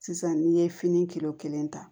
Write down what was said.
Sisan n'i ye fini kilo kelen ta